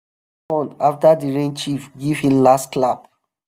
respond after the rain chief give him last clap.